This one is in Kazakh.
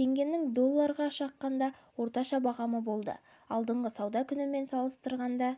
теңгенің долларына шаққандағы орташа бағамы болды алдыңғы сауда күнімен салыстырғанда